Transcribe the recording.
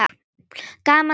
Gaman að hitta